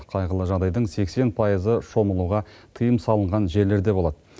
қайғылы жағдайдың сексен пайызы шомылуға тыйым салынған жерлерде болады